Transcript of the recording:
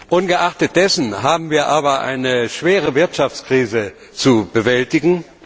Ungeachtet dessen haben wir aber eine schwere Wirtschaftskrise zu bewältigen.